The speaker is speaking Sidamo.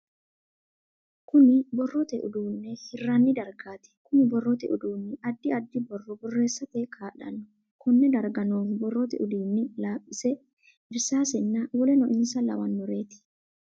Kunni borrote uduunne hiranni dargaati. Kunni borrote uduunni addi addi borro boreesate kaa'lano. Konne darga noohu borrote uduunni laaphise, irsaasenna woleno insa lawanoreeti.